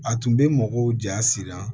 A tun bɛ mɔgɔw ja siran